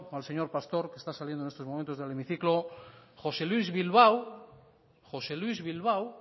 al señor pastor que está saliendo en estos momentos del hemiciclo josé luis bilbao josé luis bilbao